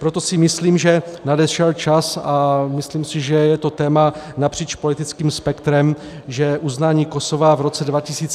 Proto si myslím, že nadešel čas, a myslím si, že je to téma napříč politickým spektrem, že uznání Kosova v roce 2008 bylo chybou.